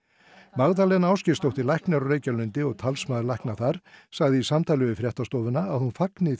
Magdalena Ásgeirsdóttir læknir á Reykjalundi talsmaður lækna þar sagði í samtali við fréttastofu að hún fagni